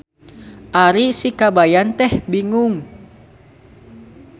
Ari sikabayan teh bingung.